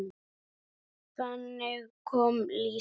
Þannig kom Lísa.